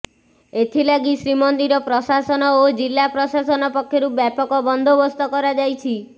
ଏଥିଲାଗି ଶ୍ରୀମନ୍ଦିର ପ୍ରଶାସନ ଓ ଜିଲ୍ଲା ପ୍ରଶାସନ ପକ୍ଷରୁ ବ୍ୟାପକ ବନ୍ଦୋବସ୍ତ କରାଯାଇଛି